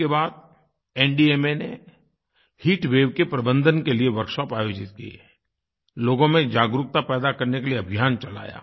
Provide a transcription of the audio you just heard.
इसके बाद एनडीएमए ने हीट वेव के प्रबंधन के लिए वर्कशॉप आयोजित किये लोगों में जागरूकता पैदा करने के लिए अभियान चलाया